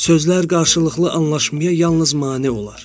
Sözlər qarşılıqlı anlaşmaya yalnız mane olar.